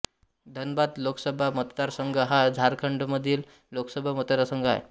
धनबाद लोकसभा मतदारसंघ हा झारखंडमधील लोकसभा मतदारसंघ आहे